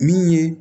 Min ye